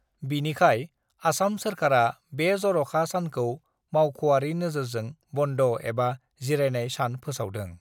बिनिखाय, आसाम सोरखारा बे जर'खा सानखौ मावख'आरि नोजोरजों बन्द' एबा जिरायनाय सान फोसावदों।